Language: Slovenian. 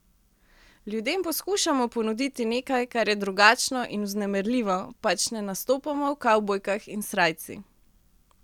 Ljudem poskušamo ponuditi nekaj, kar je drugačno in vznemirljivo, pač ne nastopamo v kavbojkah in srajci.